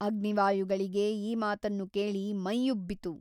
ಅಗ್ನಿವಾಯುಗಳಿಗೆ ಈ ಮಾತನ್ನು ಕೇಳಿ ಮೈಯ್ಯುಬ್ಬಿತು.